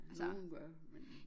Nogen gør men